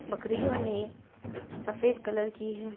बकरियों ने सफेद कलर की हैं।